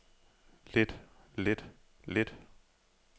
lidt lidt lidt